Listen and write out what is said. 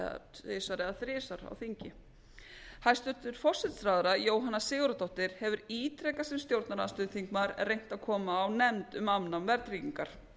tvisvar ára þrisvar á þingi háttvirts forsætisráðherra jóhanna sigurðardóttir hefur ítrekað sem stjórnarandstöðuþingmaður reynt að koma á nefnd um afnám verðtryggingar hins vegar